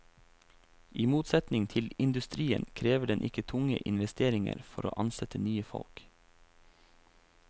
I motsetning til industrien krever den ikke tunge investeringer for å ansette nye folk.